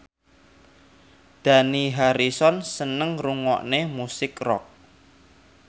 Dani Harrison seneng ngrungokne musik rock